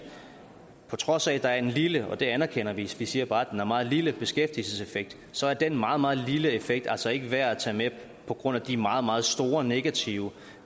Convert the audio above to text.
på trods af at der er en lille og det anerkender vi vi siger bare at den er meget lille beskæftigelseseffekt så er den meget meget lille effekt altså ikke værd at tage med på grund af de meget meget store negative